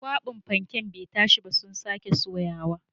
Kwaɓin fanken bai tashi ba sun ka soya